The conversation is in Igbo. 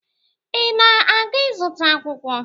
Ị na-aga ịzụta akwụkwọ?